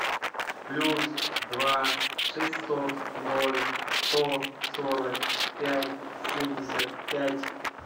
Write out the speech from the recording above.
плюс два шестьсот ноль сто сорок пять семьдесят пять